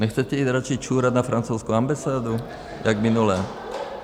Nechcete jít radši čurat na francouzskou ambasádu jak minule?